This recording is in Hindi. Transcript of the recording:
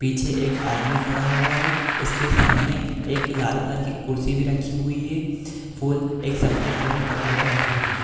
पीछे एक आदमी खड़ा हुआ है उसके सामने एक लाल कलर की कुर्सी भी रखी हुई है फूल एक सफ़ेद कलर के कपड़े पे रखे हुए है।